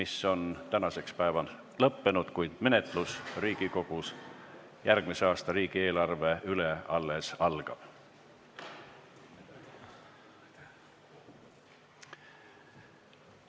See on tänaseks lõppenud, kuid järgmise aasta riigieelarve menetlus Riigikogus alles algab.